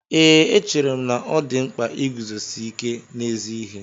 Ee, echere m na ọ dị mkpa iguzosi ike n'ezi ihe